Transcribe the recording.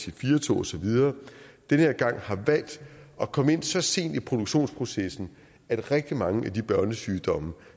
ic4 tog osv den her gang har valgt at komme så sent ind i produktionsprocessen at rigtig mange af de børnesygdomme